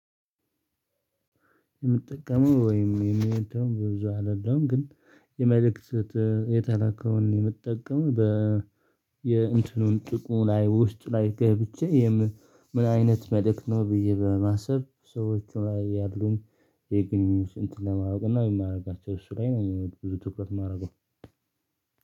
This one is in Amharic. የምጠቀመው ወይም የሚሄደው በብዙ አይደለም ግን የመልእክት የተላከውን የምትጠቀም በ የእንትኑን ጥቅሙ ላይ ውስጥ ላይ ገብቼ ምን አይነት መልእክት ነው ብዬ በማሰብ ሰዎች ላይ ያሉን። የግንኙነት ስንት ለማወቅ እና የማደርጋቸው እሱ ላይ ነው ብዙ ትኩረት የማደርገው።